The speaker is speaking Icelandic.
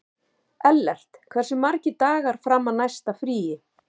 Ellert, hversu margir dagar fram að næsta fríi?